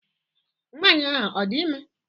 Nwaanyị ahụ a dị ime?